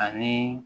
Ani